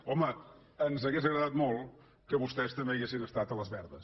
home ens hauria agradat molt que vostès també hi haguessin estat a les verdes